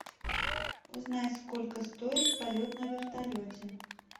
узнай сколько стоит полет на вертолете